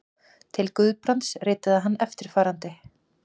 Til Guðbrands ritaði hann eftirfarandi